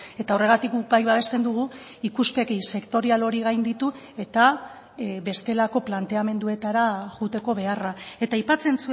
eta horregatik guk bai babesten dugu ikuspegi sektorial hori gainditu eta bestelako planteamenduetara joateko beharra eta aipatzen